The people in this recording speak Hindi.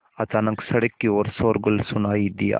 अचानक सड़क की ओर शोरगुल सुनाई दिया